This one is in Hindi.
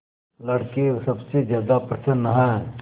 लड़के सबसे ज्यादा प्रसन्न हैं